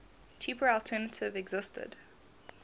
cheaper alternative existed